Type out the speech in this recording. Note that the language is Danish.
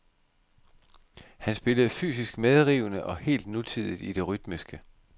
Han spillede fysisk medrivende og helt nutidigt i det rytmiske.